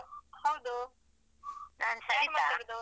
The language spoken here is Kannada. ಹೌದು ಯಾರ್ ಮಾತಾದುದು?